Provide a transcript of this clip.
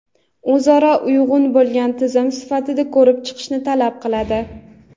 o‘zaro uyg‘un bo‘lgan tizim sifatida ko‘rib chiqishni talab qiladi.